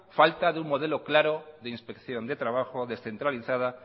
falta de un modelo claro de inspección de trabajo descentralizada